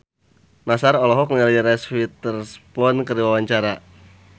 Nassar olohok ningali Reese Witherspoon keur diwawancara